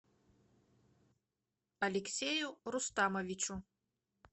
алексею рустамовичу